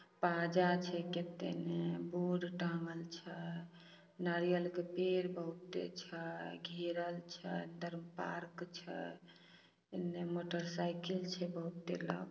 बाजा छै केतेने बोर्ड टांगल छय नारियल क पेड़ बहुते छय घेरल छय उधर पार्क छय एने मोटर साइकिल छै बहुते ल --